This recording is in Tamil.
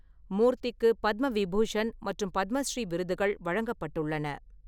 மூர்த்திக்கு பத்ம விபூஷண் மற்றும் பத்மஸ்ரீ விருதுகள் வழங்கப்பட்டுள்ளன.